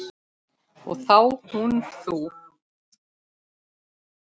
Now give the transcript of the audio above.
Og þá hún þú.